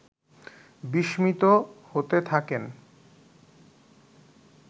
বিস্মিত হতে থাকেন